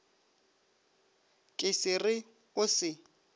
ka se re o se